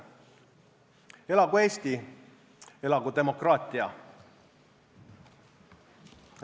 Elagu Eesti, elagu demokraatia!